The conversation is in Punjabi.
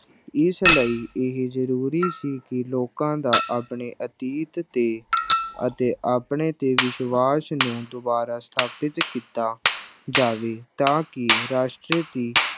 ਇਸ ਲਈ ਇਹ ਜ਼ਰੂਰੀ ਸੀ ਕਿ ਲੋਕਾਂ ਦਾ ਆਪਣੇ ਅਤੀਤ ਤੇ ਅਤੇ ਆਪਣੇ ਤੇ ਵਿਸ਼ਵਾਸ ਨੂੰ ਦੁਬਾਰਾ ਸਥਾਪਿਤ ਕੀਤਾ ਜਾਵੇ ਤਾਂ ਕਿ ਰਾਸ਼ਟਰ ਦੀ